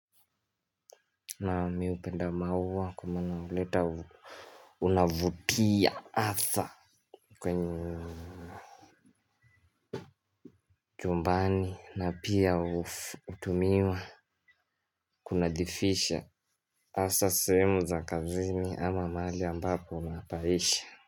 Na mi upenda maua kwa maana uleta unavutia atha kwenye chumbani na pia utumiwa kunadhifisha asa sehemu za kazini ama maali ambapo unapaisha.